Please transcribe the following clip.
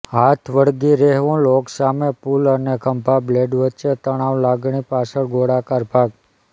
હાથ વળગી રહેવું લોક સામે પુલ અને ખભા બ્લેડ વચ્ચે તણાવ લાગણી પાછળ ગોળાકાર ભાગ